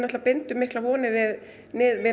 bindum miklar vonir við